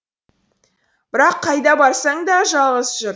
бірақ қайда барсаң да жалғыз жүр